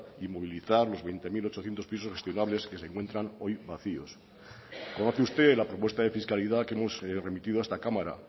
y movilizar los veinte mil ochocientos pisos estivales que se encuentran hoy vacíos conoce usted la propuesta de fiscalidad que hemos remitido a esta cámara